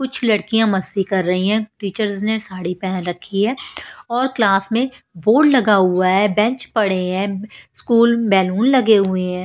कुछ लड़कियां मस्ती कर रही हैं टीचर्स ने साड़ी पहन रखी हैऔर क्लास में बोर्ड लगा हुआ है बेंच पड़े हैं स्कूल बेलून लगे हुए हैं।